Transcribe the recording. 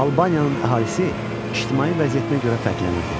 Albaniyanın əhalisi ictimai vəziyyətinə görə fərqlənirdi.